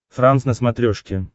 франс на смотрешке